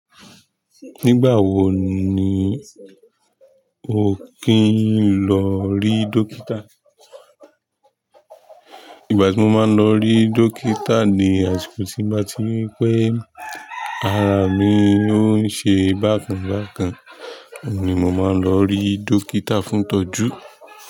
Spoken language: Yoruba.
Nígbà wo ni o kìí n lọ ri dókítà? Ìgbà tí mo máa ń lọ rí dókítà ni àsìkò tí bá ri pé ara mi ó ń ṣe bákan bákan ni mo máa ń lọ rí dókítà fún ìtọ́jú.